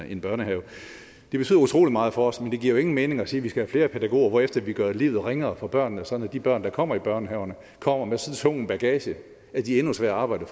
en børnehave det betyder utrolig meget for os men det giver jo ingen mening at sige vi skal have flere pædagoger hvorefter vi gøre livet ringere for børnene sådan at de børn der kommer i børnehaverne kommer med så tung en bagage at de er endnu sværere at arbejde